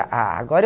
ah, agora eu